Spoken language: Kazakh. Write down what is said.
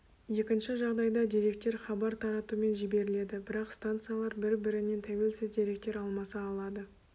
екінші жағдайда деректер хабар таратумен жіберіледі бірақ станциялар бір-бірінен тәуелсіз деректер алмаса алады